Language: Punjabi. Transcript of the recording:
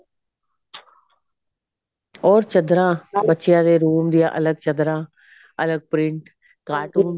ਹੋਰ ਚੱਦਰਾ ਬੱਚਿਆ ਦੇ room ਦੀਆਂ ਅਲੱਗ ਚੱਦਰਾਂ ਅਲੱਗ print cartoons